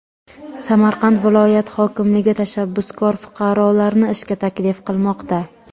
Samarqand viloyat hokimligi tashabbuskor fuqarolarni ishga taklif qilmoqda.